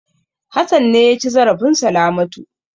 Hassan ne ya ci zarafin Salamatu.